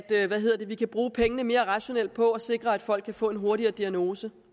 vi kan bruge pengene mere rationelt på at sikre at folk kan få en hurtigere diagnose